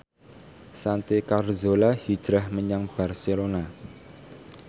Santi Carzola hijrah menyang Barcelona